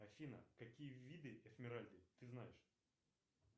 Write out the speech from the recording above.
афина какие виды эсмеральды ты знаешь